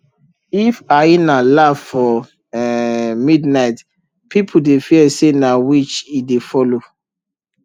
if hyena laugh for um midnight people dey fear say na witch e dey follow